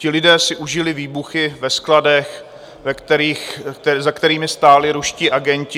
Ti lidé si užili výbuchy ve skladech, za kterými stáli ruští agenti.